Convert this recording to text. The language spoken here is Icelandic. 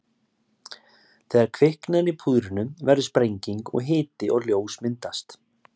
Þegar kviknar í púðrinu verður sprenging og hiti og ljós myndast.